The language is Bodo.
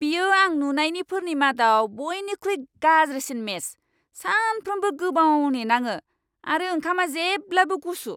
बेयो आं नुनायनिफोरनि मादाव बयनिख्रुइ गाज्रिसिन मेस! सानफ्रोमबो गोबाव नेनाङो आरो ओंखामा जेब्लाबो गुसु!